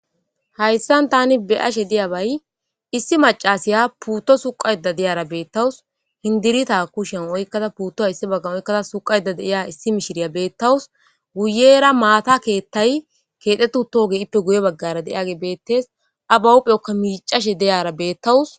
Hayisan tani beashe diyabayi issi mac'asiya puto suqashe diyara betawus sindirita kushen oyikada puto issi bagan oyikada putuwa suqayida diya issi mishiriya betawus guyera matha kethayi kexetiutage betees a bahupheka mic'ashe diyara betawus